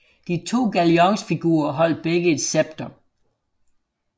De to galionsfigurer holdt begge et scepter